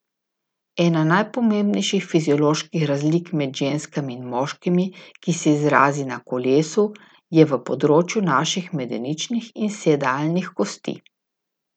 Ena najpomembnejših fizioloških razlik med ženskami in moškimi, ki se izrazi na kolesu, je v področju naših medeničnih in sedalnih kosti.